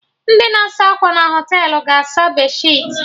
Ndị na-asa akwa na Họtelụ ga-asa bedsheetị